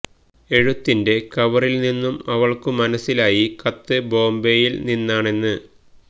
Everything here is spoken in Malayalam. എഴുത്തിന്റെ കവറിൽ നിന്നും അവൾക്ക് മനസ്സിലായി കത്ത് ബോംബയിൽ നിന്നാണെന്ന്